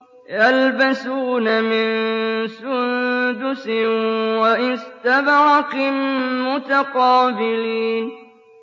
يَلْبَسُونَ مِن سُندُسٍ وَإِسْتَبْرَقٍ مُّتَقَابِلِينَ